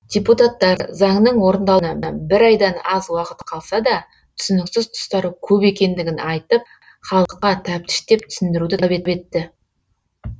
депутаттар заңның орындалуына бір айдан аз уақыт қалса да түсініксіз тұстары көп екендігін айтып халыққа тәптіштеп түсіндіруді талап етті